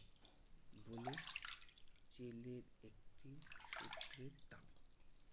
বলে জেলের একটি সূত্রের দাবি।